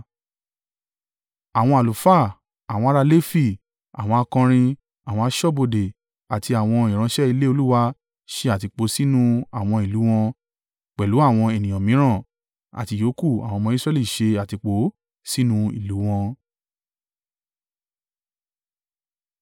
Àwọn àlùfáà, àwọn ará Lefi, àwọn akọrin, àwọn aṣọ́bodè àti àwọn ìránṣẹ́ ilé Olúwa ṣe àtìpó sínú àwọn ìlú wọn, pẹ̀lú àwọn ènìyàn mìíràn, àti ìyókù àwọn ọmọ Israẹli ṣe àtìpó sínú ìlú u wọn.